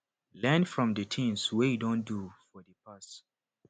learn from di things wey you don do for di past